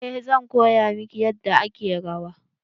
Eh zan koya miki yadda ake rawa.